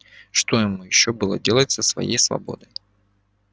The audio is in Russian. что ему ещё было делать со своей свободой